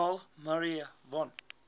carl maria von